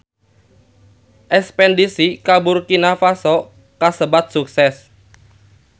Espedisi ka Burkina Faso kasebat sukses